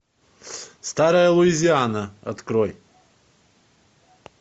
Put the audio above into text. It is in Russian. старая луизиана открой